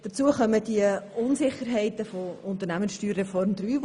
Dazu kommen die Unsicherheiten im Zusammenhang mit der USR III.